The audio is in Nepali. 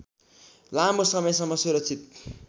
लामो समयसम्म सुरक्षित